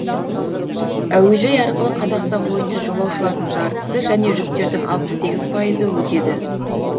әуежай арқылы қазақстан бойынша жолаушылардың жартысы және жүктердің алпыс сегіз пайыз өтеді